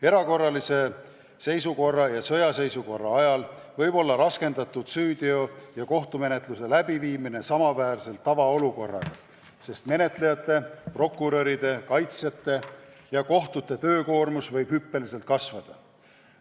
Erakorralise seisukorra ja sõjaseisukorra ajal võib olla raskendatud süüteo- ja kohtumenetluse läbiviimine samaväärselt tavaolukorraga, sest menetlejate, prokuröride, kaitsjate ja kohtute töökoormus võib hüppeliselt kasvada.